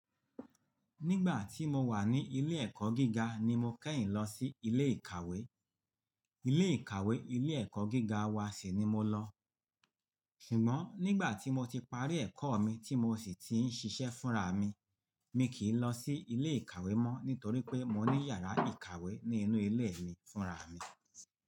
Nígbà tí mo wà ní ilé ẹ̀kọ́ gíga ni mo kẹ́yìn lọ sí ilé ìkàwé. Ilé ìkàwé ilé ẹ̀kọ́ gíga wa sì ni mo lọ. Ṣùgbọ́n nígbà tí mo ti parí ẹ̀kọ́ mi tí mo sì ti ń ṣiṣẹ́ fúnra mi, mi kì í lọ sí ilé ìkàwé mọ́ nítorí pé mo ní yàrá ìkàwé ní inú ilé mi fúnra mi.